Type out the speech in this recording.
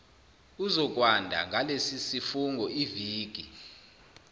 uzokwanda ngalesisifungo iviki